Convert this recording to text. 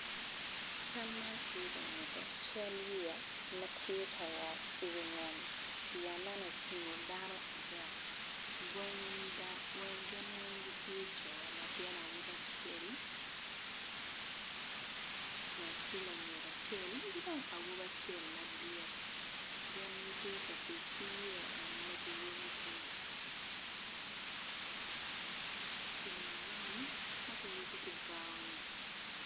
Cal man tye ka nyuto cal yeya ma tye ka wot iwi nam yeya man otingo dano adek gin weng gitye co latin awobi acel med ki lanyodo acel ki dong pa awobi acel madit gin gitye ka tic ki yeya en ma kiyubo ki yeya man ma kiyubo ki bao ni.